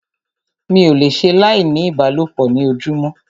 Mi ò le ṣe láì ní ìbálòpọ̀ ní ojúmọ́.